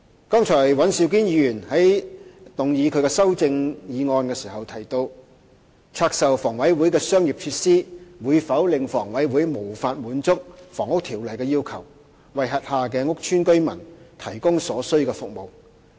剛才尹兆堅議員在談及他的修正案時提到，拆售房委會的商業設施會否令房委會無法滿足《房屋條例》的要求，為轄下屋邨居民提供所需服務。